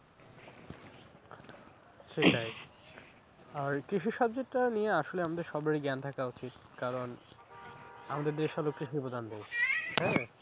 সেটাই আর কৃষি subject টা নিয়ে আসলে আমাদের সবারই জ্ঞান থাকা উচিত, কারণ আমাদের দেশে লোককে হ্যাঁ।